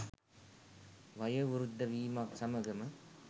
වයෝවෘද්ධ වීමත් සමඟම